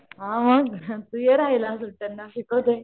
हा हा तू ये रहायला तेंव्हा शिकवते.